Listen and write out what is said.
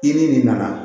I ni nin nana